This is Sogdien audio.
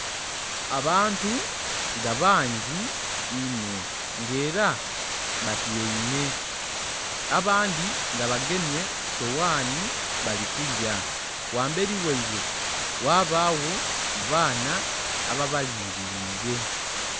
Abantu nga bangi inho nga era batyaime abandhi nga bagemye sowani bali kulya ghamberi ghaibwe ghabagho abaana ababalingirire.